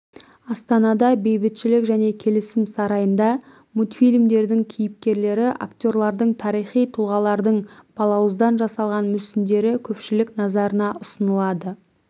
астанада бейбітшілік және келісім сарайында мультфильмдердің кейіпкерлері актерлардың тарихи тұлғалардың балауыздан жасалған мүсіндері көпшілік назарына ұсынылады